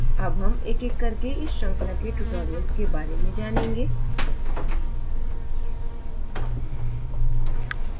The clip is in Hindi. अब हम एकएक करके इस श्रृंखला के tutorials के बारे में जानेंगे